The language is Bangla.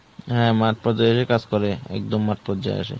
হ্যাঁ মাঠ পর্যায়েরি কাজ করে একদম মাঠ পর্যায়ে আসে।